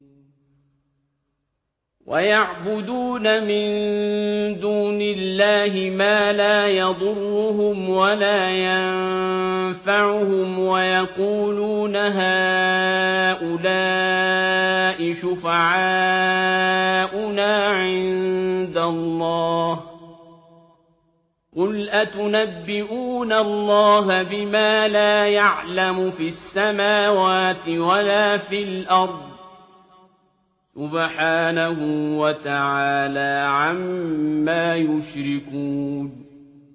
وَيَعْبُدُونَ مِن دُونِ اللَّهِ مَا لَا يَضُرُّهُمْ وَلَا يَنفَعُهُمْ وَيَقُولُونَ هَٰؤُلَاءِ شُفَعَاؤُنَا عِندَ اللَّهِ ۚ قُلْ أَتُنَبِّئُونَ اللَّهَ بِمَا لَا يَعْلَمُ فِي السَّمَاوَاتِ وَلَا فِي الْأَرْضِ ۚ سُبْحَانَهُ وَتَعَالَىٰ عَمَّا يُشْرِكُونَ